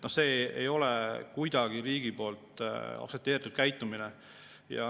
See ei ole kuidagi aktsepteeritud käitumine riigi poolt.